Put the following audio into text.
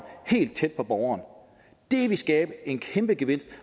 helt tæt på borgeren det vil skabe en kæmpe gevinst